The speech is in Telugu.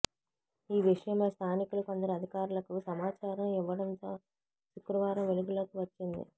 ఈ విషయమై స్థానికులు కొందరు అధికారులకు సమాచారం ఇవ్వ డంతో శుక్రవారం వెలుగులోకి వచ్చింది